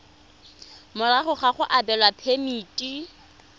morago ga go abelwa phemiti